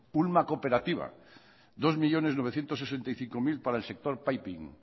ulma cooperativa dos millónes novecientos sesenta y cinco mil para el sector piping